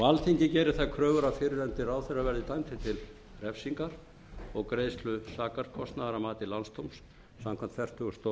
alþingi gerir þær kröfur að fyrrverandi ráðherra verði dæmdur til refsingar og greiðslu sakarkostnaðar að mati landsdóms samkvæmt fertugustu